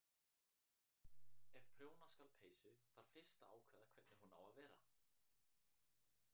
Ef prjóna skal peysu þarf fyrst að ákveða hvernig hún á að vera.